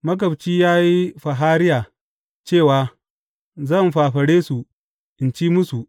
Magabci ya yi fahariya, cewa Zan fafare su, in ci musu.